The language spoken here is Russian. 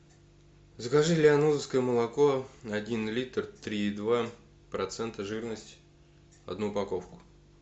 закажи лианозовское молоко один литр три и два процента жирности одну упаковку